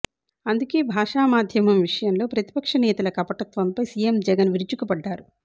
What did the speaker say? అందుకే భాషా మాధ్యమం విషయంలో ప్రతిపక్ష నేతల కపటత్వంపై సీఎం జగన్ విరుచుకుపడ్డారు